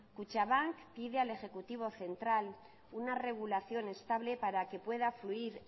kutxabank pide al ejecutivo central una regulación estable para que pueda fluir